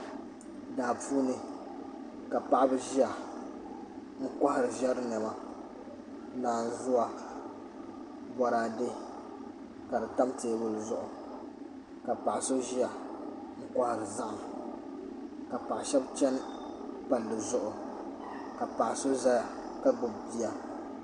Daa puuni ka paɣaba ʒiya n kohari ƶɛri niɛma naanzuwa boraadɛ ka di tam teebuli zuɣu ka paɣa so ʒiya n kohari zaham ka paɣa shab chɛni palli zuɣu ka paɣa shab ʒiya ka gbubi bia